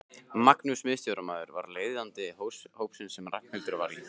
Magnús miðstjórnarmaður var leiðbeinandi hópsins sem Ragnhildur var í.